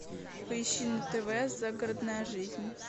поищи на тв загородная жизнь